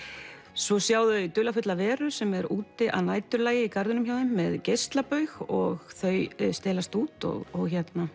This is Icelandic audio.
svo sjá þau dularfulla veru sem er úti að næturlagi í garðinum hjá þeim með geislabaug og þau stelast út og